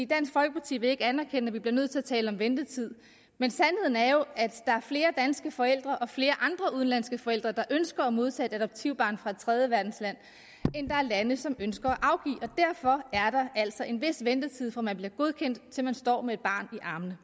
dansk folkeparti vil ikke anerkende at vi bliver nødt til at tale om ventetid men sandheden er jo at der er flere danske forældre og flere andre udenlandske forældre der ønsker at modtage et adoptivbarn fra et tredjeverdensland end der er lande som ønsker at og derfor er der altså en vis ventetid fra man bliver godkendt til man står med et barn i armene